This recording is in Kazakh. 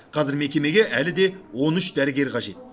қазір мекемеге әлі де он үш дәрігер қажет